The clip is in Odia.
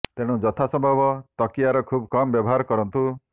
ତେଣୁ ଯଥା ସମ୍ଭବ ତକିଆର ଖୁବ କମ ବ୍ୟବହାର କରନ୍ତୁ